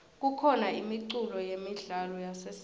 kukhona imiculo yemidlalo yasesiteji